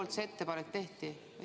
Kes selle ettepaneku tegi?